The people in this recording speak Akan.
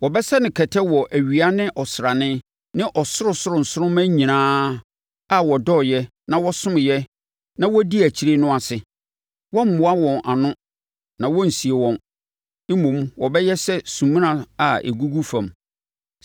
Wɔbɛsɛ no kɛtɛ wɔ awia ne ɔsrane ne ɔsorosoro nsoromma nyinaa a wɔdɔɔɛ na wɔsomeeɛ na wɔdii akyire no ase. Wɔremmoa wɔn ano na wɔrensie wɔn, mmom, wɔbɛyɛ sɛ sumina a ɛgugu fam.